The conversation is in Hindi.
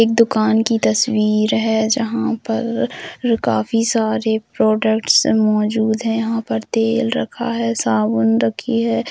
एक दुकान की तस्वीर है जहां पर काफी सारे प्रोडक्टस मोजूद है यहा पर तेल रखा है साबुन रखी है।